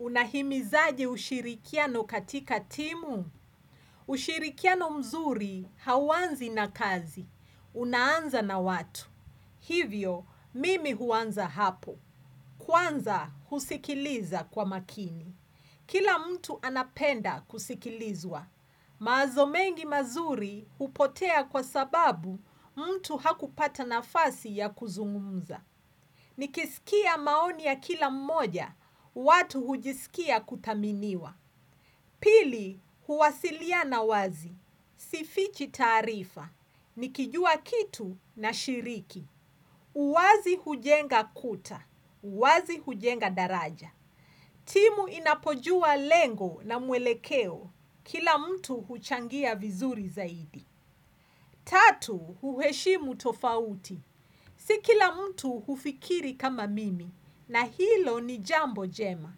Unahimizaje ushirikiano katika timu? Ushirikiano mzuri hauanzi na kazi. Unaanza na watu. Hivyo, mimi huanza hapo. Kwanza husikiliza kwa makini. Kila mtu anapenda kusikilizwa. Mawazo mengi mazuri hupotea kwa sababu mtu hakupata nafasi ya kuzungumza. Nikisikia maoni ya kila mmoja, watu hujisikia kuthaminiwa Pili, huwasiliana wazi, sifichi taarifa Nikijua kitu na shiriki uwazi hujenga kuta, uwazi hujenga daraja timu inapojua lengo na mwelekeo, kila mtu huchangia vizuri zaidi Tatu, huheshimu tofauti Sikila mtu hufikiri kama mimi na hilo ni jambo jema.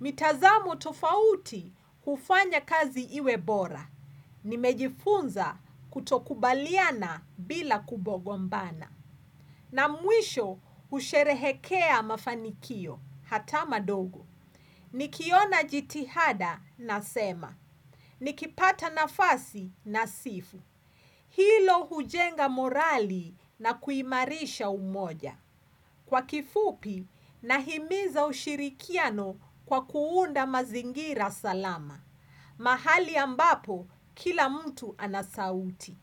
Mitazamo tofauti hufanya kazi iwe bora. Nimejifunza kutokubaliana bila kugombana. Na mwisho husherehekea mafanikio hata madogo. Nikiona jitihada nasema. Nikipata nafasi na sifu. Hilo hujenga morali na kuimarisha umoja. Kwa kifupi, nahimiza ushirikiano kwa kuunda mazingira salama. Mahali ambapo, kila mtu anasauti.